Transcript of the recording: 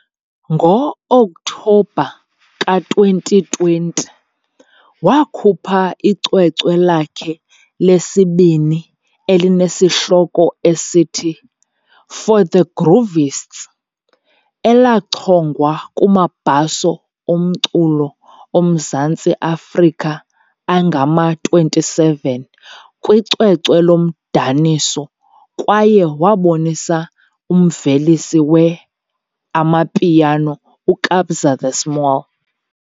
Ngo-Okthobha ka-2020, wakhupha icwecwe lakhe lesibini elinesihloko esithi, For The Groovists, elachongwa kumaBhaso oMculo oMzantsi Afrika angama-27 kwicwecwe lomdaniso kwaye wabonisa umvelisi we-amapiano uKabza De Small.